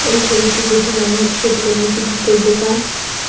এই ছবিটি দেখে মনে হচ্ছে এটি কোনো একটি জুতোর দোকান।